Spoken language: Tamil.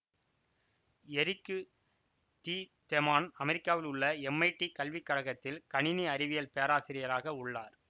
எரிக்கு தி தெமான் அமெரிக்காவில் உள்ள எம்ஐடி கல்விக்கழகத்தில் கணினி அறிவியல் பேராசிரியராக உள்ளார்